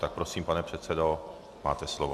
Tak prosím, pane předsedo, máte slovo.